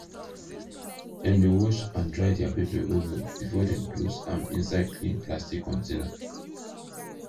dem dey wash and dry their pepper well well before dem close am inside clean plastic container